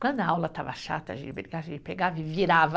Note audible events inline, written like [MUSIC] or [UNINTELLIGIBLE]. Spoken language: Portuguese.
Quando a aula estava chata, [UNINTELLIGIBLE] a gente pegava e virava.